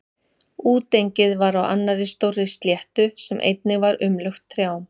Útengið var á annarri stórri sléttu sem einnig var umlukt trjám.